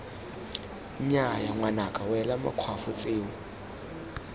nnyaya ngwanaka wela makgwafo tseo